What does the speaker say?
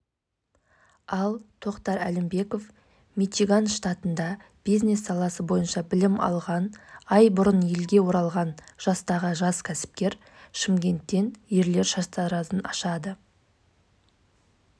жоба авторы еуразия ұлттық университетінің магистранты әсел пазылбекова жас ғалымның айтуынша аумағы шаршы метрлік алты